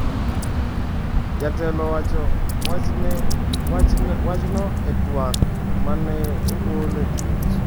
Jatelo owacho wachno e twak ma ne ogol e televison.